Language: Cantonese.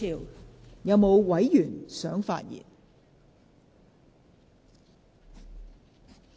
是否有委員想發言？